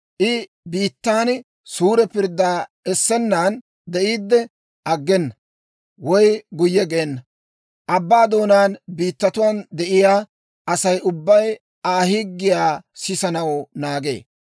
I biittaan suure pirddaa essennan de'iidde aggena; woy guyye geena. Abbaa doonaa biittatuwaan de'iyaa Asay ubbay Aa higgiyaa sisanaw naagee.